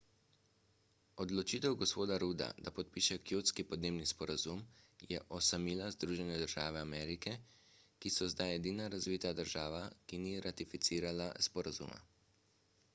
odločitev g. rudda da podpiše kjotski podnebni sporazum je osamila združene države amerike ki so zdaj edina razvita država ki ni ratificirala sporazuma